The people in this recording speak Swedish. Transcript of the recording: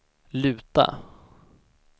luta